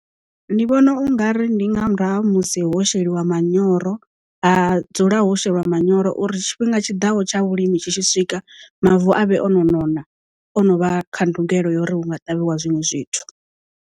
Ndi vhona u nga ri ndi nga murahu ha musi ho sheliwa manyoro ha dzulaho sheliwa manyoro uri tshifhinga tshiḓaho tsha vhulimi tshi tshi swika mavu avhe o no nona ono vha kha ndugelo ya uri hu nga ṱavhiwa zwinwe zwithu.